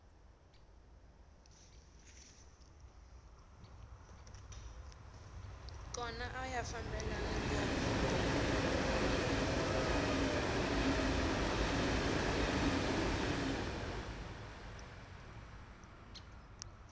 kona a ya fambelani ngopfu